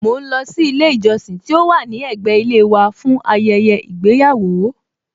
Mọ ń lọ sí ilé ìjọsìn tí ó wà ní ẹ̀gbẹ́ ilé wa fún ayẹyẹ ìgbéyàwó